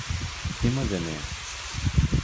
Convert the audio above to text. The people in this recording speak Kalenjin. Imoche nee?